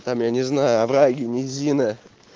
там я не знаю овраги низины